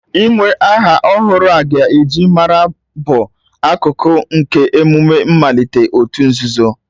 Inwe aha ọhụrụ a ga-eji mara, bụ akụkụ nke emume mmalite òtù nzuzo